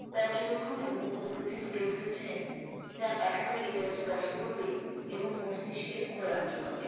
পর্যবেক্ষন এবংউপলব্ধি তুলে ধরেছেন যা পাঠকের হৃদয়ে স্পর্শ করবে এবং মস্তিষ্কের খোড়াক যোগাবে।